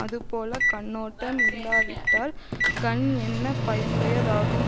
அதுபோல கண்ணோட்டம் இல்லாவிட்டால் கண் என்ன பயனுடையதாகும்